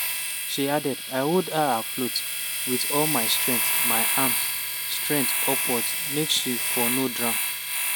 she add: "i hold her afloat wit all my strength my arms stretch upwards make she for no drown.